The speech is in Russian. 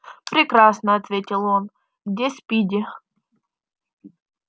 прекрасно ответил он где спиди